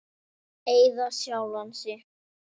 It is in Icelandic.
Eða sjálfan þig.